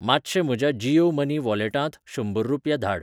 मातशें म्हज्या जीयो मनी वॉलेटांत शंबर रुपया धाड.